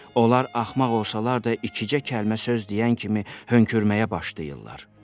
Onlar axmaq olsalar da, iki-üç kəlmə söz deyən kimi hönkürməyə başlayırlar.